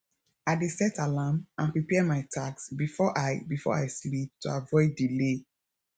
i dey set alarm and prepare my tasks before i before i sleep to avoid delay